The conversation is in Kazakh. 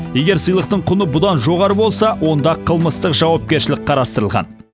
егер сыйлықтың құны одан жоғары болса онда қылмыстық жауапкершілік қарастырылған